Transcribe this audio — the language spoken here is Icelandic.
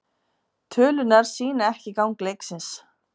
Tölurnar sýna ekki gang leiksins.